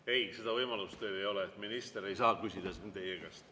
Ei, seda võimalust teil ei ole, minister ei saa küsida siin teie käest.